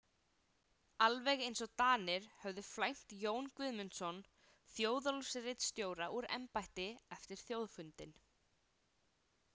Alveg eins og Danir höfðu flæmt Jón Guðmundsson Þjóðólfsritstjóra úr embætti eftir þjóðfundinn.